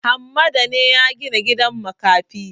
Hammada ne ya gina gidan makafi?